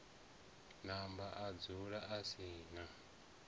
namba adzula a si na